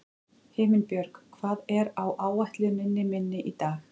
Himinbjörg, hvað er á áætluninni minni í dag?